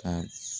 Ka